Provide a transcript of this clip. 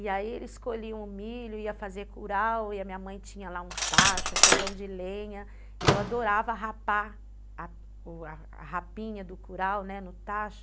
E aí eles colhiam o milho, ia fazer curau, e a minha mãe tinha lá um tacho, fogão de lenha, e eu adorava rapar a o a rapinha do curau, né, no tacho.